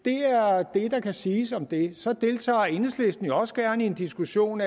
det er det der kan siges om det så deltager enhedslisten jo også gerne i en diskussion